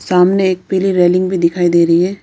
सामने एक पीली रेलिंग भी दिखाई दे रही है।